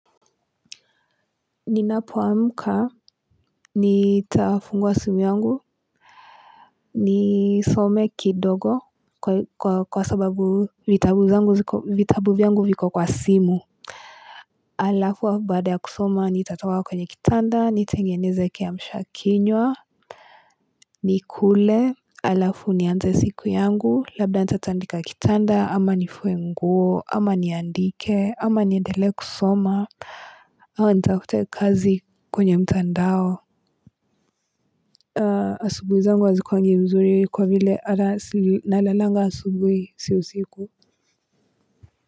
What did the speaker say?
Ninapoamka, nitafungua simu yangu Nisome kidogo kwa sababu vitabu zangu ziko, vitabu vyangu viko kwa simu Halafu baada ya kusoma nitatoka kwenye kitanda nitengeneze kiamshakinywa nikule hlafu nianze siku yangu labda nitatandika kitanda ama nifue nguo ama niandike ama niendele kusoma au nitafute kazi kwenye mtandao asubuhi zangu hazikuwangi mzuri kwa vile hata nalalanga asubuhi si usiku.